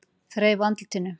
Þreifa á andlitinu.